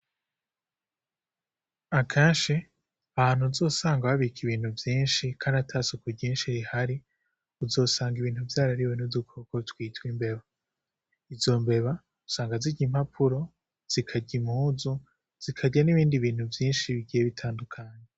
Akenshi ahantu uzosanga babika ibintu vyinshi kandi ata suku ryinshi rihari, uzosanga ibintu vyarariwe n'udukoko twitwa imbeba, izo mbeba usanga zirya impapura, zikarya impuzu, zikarya nibindi bintu vyinshi bitandukanye.